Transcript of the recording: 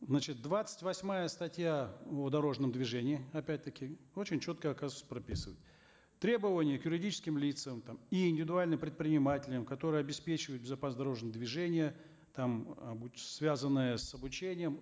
значит двадцать восьмая статья в дорожном движении опять таки очень четко оказывается прописывает требования к юридическим лицам там и индивидуальным предпринимателям которые обеспечивают безопасность дорожного движения там э будь связанные с обучением